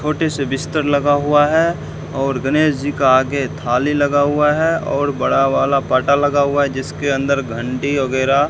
छोटे से बिस्तर लगा हुआ है और गनेश जी का आगे थाली लगा हुआ है और बड़ा वाला पाटा लगा हुआ है जिसके अंदर घंटी वगैरा --